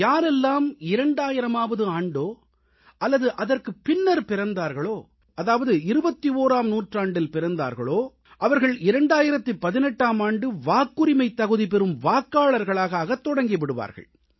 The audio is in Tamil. யாரெல்லாம் 2000ஆம் ஆண்டோ அல்லது அதற்குப் பின்னர் பிறந்தார்களோ அதாவது 21ஆம் நூற்றாண்டில் பிறந்தார்களோ அவர்கள் 2018ஆம் ஆண்டு வாக்குரிமைத் தகுதி பெறும் வாக்காளர்களாக ஆகத் தொடங்கி விடுவார்கள்